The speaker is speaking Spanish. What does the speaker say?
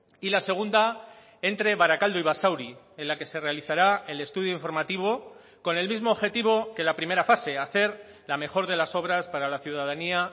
y la segunda entre barakaldo y basauri en la que se realizará el estudio informativo con el mismo objetivo que la primera fase hacer la mejor de las obras para la ciudadanía